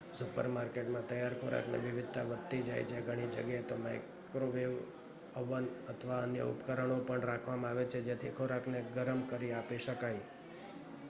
સુપરમાર્કેટમાં તૈયાર ખોરાકની વિવિધતા વધતી જાય છે ઘણી જગ્યાએ તો માઈક્રોવેવ અવન અથવા અન્ય ઉપકરણો પણ રાખવામાં આવે છે જેથી ખોરાકને ગરમ કરી આપી શકાય